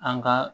An ka